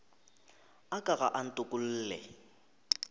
a ka ga a ntokolle